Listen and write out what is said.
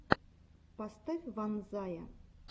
поставь ванзая